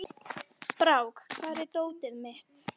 Brák, hvar er dótið mitt?